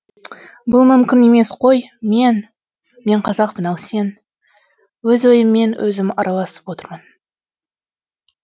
бұл мүмкін емес қой мен мен қазақпын ал сен өз ойыммен өзім араласып отырмын